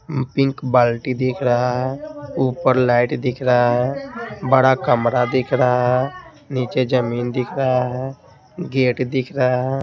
Pink बाल्टी दिख रहा है ऊपर लाइट दिख रहा है बड़ा कमरा दिख रहा है नीचे जमीन दिख रहा है गेट दिख रहा है।